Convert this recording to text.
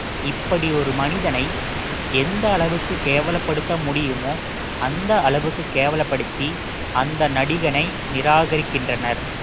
இப்படி ஒரு மனிதனை எந்த அளவுக்கு கேவலப்படுத்த முடியுமோ அந்த அளவுக்கு கேவலப்படுத்தி அந்த நடிகனை நிராகரிக்கின்றனர்